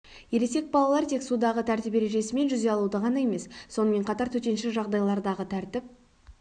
ересек балалар тек судағы тәртіп ережесі мен жүзе алуды ғана емес сонымен қатар төтенше жағдайлардағы тәртіп